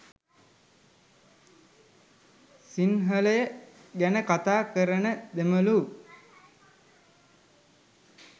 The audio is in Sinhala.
සිංහලය ගැන කතා කරන දෙමලු